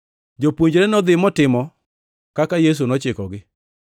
Jopuonjre nodhi motimo kaka Yesu nochikogi.